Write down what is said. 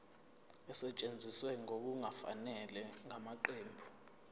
esetshenziswe ngokungafanele ngamaqembu